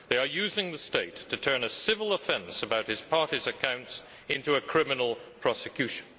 They are using the state to turn a civil offence about his party's accounts into a criminal prosecution.